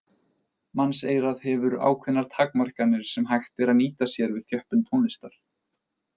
Mannseyrað hefur ákveðnar takmarkanir sem hægt er að nýta sér við þjöppun tónlistar.